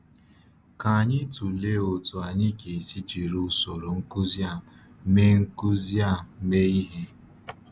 Ka anyị tụlee otú anyị ga-esi jiri usoro nkuzi a mee nkuzi a mee ihe.